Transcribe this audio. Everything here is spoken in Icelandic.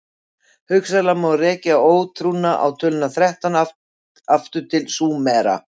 hugsanlega má rekja ótrúna á töluna þrettán allt aftur til súmera